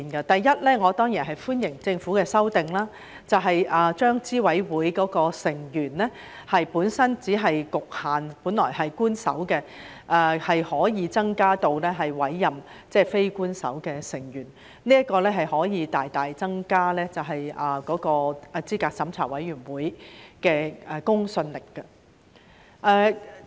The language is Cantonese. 第一，我當然歡迎政府的修訂，把資審會的成員由本身只局限於官守成員，增至可以委任非官守成員，這可以大大增加資審會的公信力。